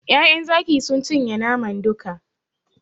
Ƴaƴan Zaki sun cinye naman duka.